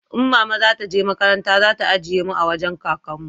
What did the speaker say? in mama za ta je makaranta za ta ajiye mu a wajen kakan mu